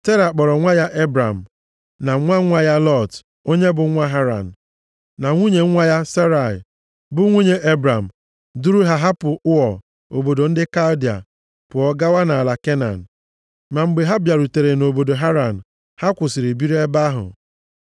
Tera kpọrọ nwa ya Ebram, na nwa nwa ya Lọt, onye bụ nwa Haran, + 11:31 Haran bụ aha mmadụ, bụrụkwa aha obodo dị nʼala Mesopotamịa. Obodo e ji ife ọnwa mara, dị ka a makwaara obodo Ụọ. na nwunye nwa ya Serai, bụ nwunye Ebram, duru ha hapụ Ụọ, obodo ndị Kaldịa, pụọ gawa nʼala Kenan. Ma mgbe ha bịarutere nʼobodo Haran, ha kwụsịrị biri nʼebe ahụ.